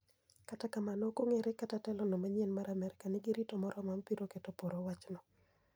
Kata kamano ok ong'ere kata telo no manyien mar Amerkanigi rito moromo ma biro keto poro wach no.